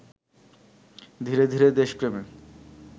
ধীরে ধীরে দেশপ্রেমে